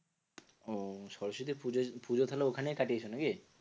ওহ সরস্বতী পুজো পুজো তাহলে ওখানেই কাটিয়েছ নাকি?